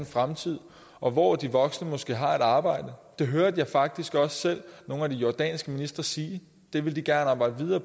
fremtid og hvor de voksne måske har et arbejde det hørte jeg faktisk også selv nogle af de jordanske ministre sige de ville arbejde videre